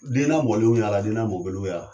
Denlamɔlenw y'ala denlamɔbaliw y'ala